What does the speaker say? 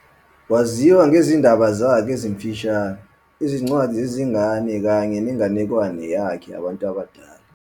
Waziwa ngezindaba zakhe ezimfushane, izincwadi zezingane kanye nenganekwane yakhe yabantu abadala.